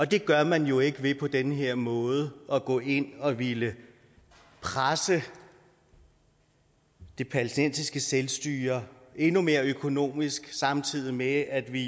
det gør man jo ikke ved på den her måde at gå ind og ville presse det palæstinensiske selvstyre endnu mere økonomisk samtidig med at vi